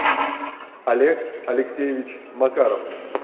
олег алексеевич макаров